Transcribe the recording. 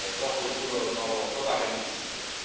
troppo duro lo trovo propagandistico.